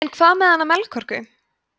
en hvað með hana melkorku